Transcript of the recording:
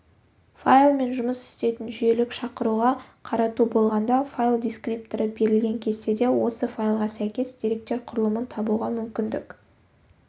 файлмен жұмыс істейтін жүйелік шақыруға қарату болғанда файл дискрипторы берілген кестеде осы файлға сәйкес деректер құрылымын табуға мүмкіндік